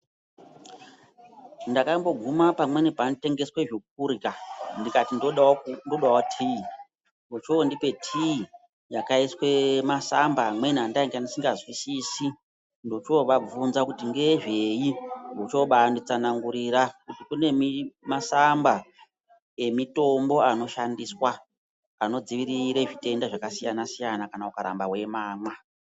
Ndakamboguma pamweni panotengeswe zvokurya ndikati ndodawo tii. Vochoondipe tii yakaiswe masamba amweni andainga ndisikazwisisi. Ndochoovabvunza kuti ngezvei. Vochoobaanditsanangurira kuti kune masamba emitombo anoshandiswa, anodzivirire zvitenda zvakasiyana-siyana kana ukaramba weimamwa.